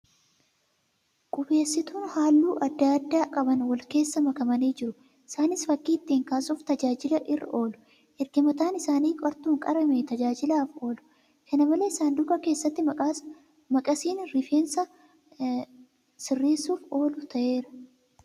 Qubeessituun halluu adda addaa qaban wal keessa makamanii jiru. Isaaniis fakkii ittiin kaasuuf tajaajila irra oolu. Erga mataan isaanii qartuun qaramee tajaajilaaf oolu. Kana malees, sanduuqa keessatti maqasiin rifeensu sirreessuuf oolu taa'eera.